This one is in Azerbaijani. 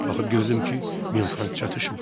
Baxıb gördüm ki, min frank çatışmır.